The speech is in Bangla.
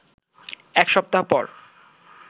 এক সপ্তাহ পর